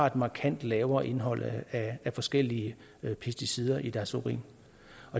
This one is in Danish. et markant lavere indhold af forskellige pesticider i deres urin